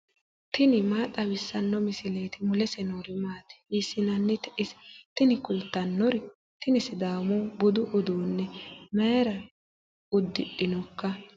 tini maa xawissanno misileeti ? mulese noori maati ? hiissinannite ise ? tini kultannori tini sidaamu budi uduunne mayra uddidhinoika